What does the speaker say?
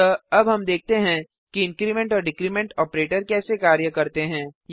अतः अब हम देखते हैं कि इंक्रीमेंट और डिक्रीमेंट ऑपरेटर कैसे कार्य करते हैं